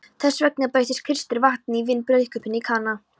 Þessvegna breytti Kristur vatni í vín í brúðkaupinu í Kana.